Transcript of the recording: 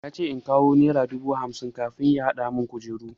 Yace in kawo nera dubu hamsin kafin ya hadamun kujeru.